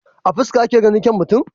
A fuska ake ganin kyaun mutum?